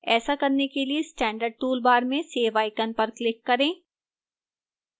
ऐसा करने के लिए standard toolbar में save icon पर click करें